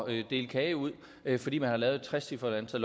at dele kage ud fordi man har lavet et trecifret antal